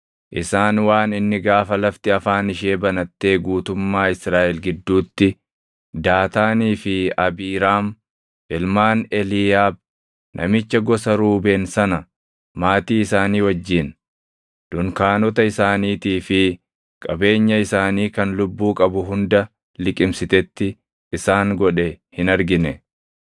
isaan waan inni gaafa lafti afaan ishee banattee guutummaa Israaʼel gidduutti Daataanii fi Abiiraam ilmaan Eliiyaab namicha gosa Ruubeen sana maatii isaanii wajjin, dunkaanota isaaniitii fi qabeenya isaanii kan lubbuu qabu hunda liqimsitetti isaan godhe hin argine.